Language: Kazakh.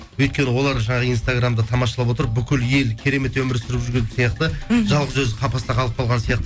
өйткені олар жаңағы инстаграмды тамашалап отырып бүкіл ел керемет өмір сүріп жүрген сияқты мхм жалғыз өзі қапаста қалып қалған сияқты